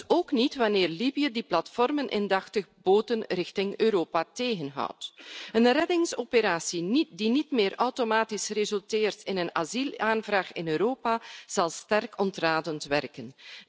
Dus ook niet wanneer Libië, die platformen indachtig, boten richting Europa tegenhoudt. De reddingsoperatie die niet meer automatisch resulteert in een asielaanvraag in Europa zal sterk ontradend werken.